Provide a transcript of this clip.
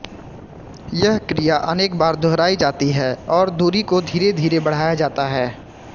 यह क्रिया अनेक बार दुहराई जाती है और दूरी को धीरे धीरे बढ़ाया जाता है